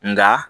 Nka